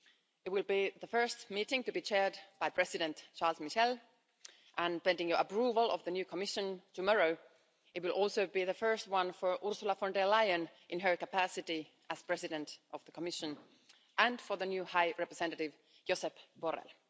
It will be the first meeting to be chaired by President Charles Michel and, pending your approval of the new Commission tomorrow, it will also be the first one for Ms Ursula von der Leyen in her capacity as President of the Commission, and for the new High Representative, Mr Josep Borrell.